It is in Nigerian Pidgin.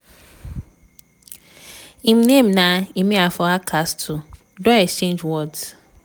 im name na emeafa hardcastle don exchange words.